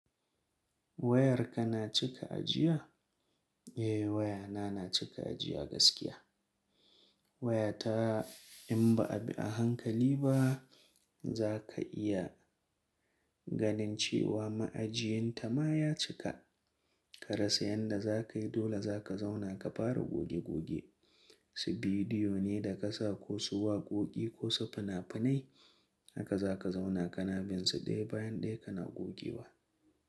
Wayarka na cika ajiya? Eh wayana na cika ajiya gaskiya. Wayata in ba a bi a hankali ba zaka iya ganin cewa ma'ajiyinta ma ya cika. Ka rasa yanda za ka yi, dole za ka zauna ka fara goge goge, su bidiyo ne da ka sa, ko su waƙoƙi ko su finafinai haka za ka zauna ka na binsu ɗaya bayan ɗaya kana gogewa.